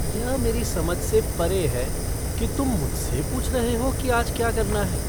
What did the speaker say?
यह मेरी समझ से परे है कि तुम मुझसे पूछ रहे हो कि आज क्या करना है।